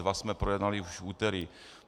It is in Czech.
Dva jsme projednali už v úterý.